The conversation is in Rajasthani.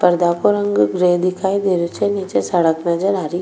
पर्दा को रंग ग्रे दिखाई दे रियो छे नीचे सड़क नजर आ रही --